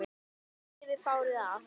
Þeir lifðu fárið af